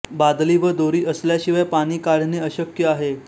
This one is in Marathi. बादली व दोरी असल्याशिवाय पाणी काढणे अशक्य आहे